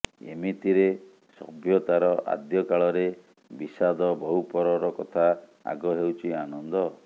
ଏମିତିରେ ସଭ୍ୟତାର ଆଦ୍ୟ କାଳରେ ବିଷାଦ ବହୁ ପରର କଥା ଆଗ ହେଉଛି ଆନନ୍ଦ